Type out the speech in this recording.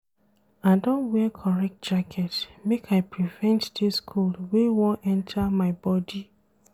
I don wear correct jacket make I prevent dis cold wey wan enta my bodi.